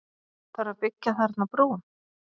Þarf að byggja þarna brú?